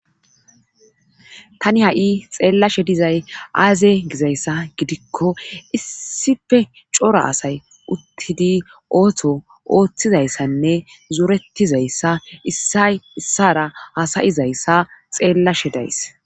tani ha7i xeellashe dizay aaze gizayssa gidikko issife cora asay uttidi ooto ooththizayssanne zuretizayssa a issara hasayizayssa xeellashe days